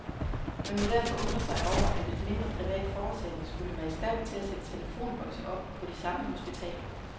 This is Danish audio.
Man må derfor undre sig over, at et mindre privat foretagende skulle være i stand til at sætte telefonbokse op på de samme hospitaler.